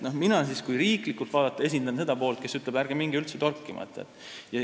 Mina esindan, kui riiklikult vaadata, seda poolt, kes ütleb, et ärge minge üldse torkima.